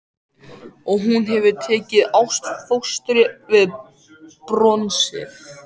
Og hún hefur tekið ástfóstri við bronsið.